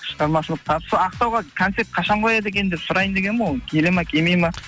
шығармашылық табыс ақтауға концерт қашан қояды екен деп сұрайын дегенім ғой келеді ма келмейді ма